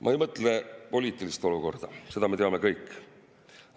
Ma ei mõtle poliitilist olukorda, seda me teame kõik.